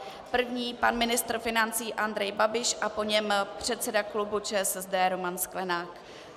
První pan ministr financí Andrej Babiš a po něm předseda klubu ČSSD Roman Sklenák.